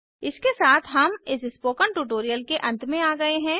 इसके साथ हम इस स्पोकन ट्यूटोरियल के अंत में आ गए हैं